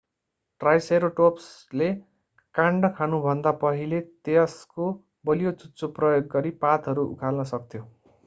ट्राइसेराटोप्सले काण्ड खानुभन्दा पहिले यसको बलियो चुच्चो प्रयोग गरी पातहरू उखाल्न सक्थ्यो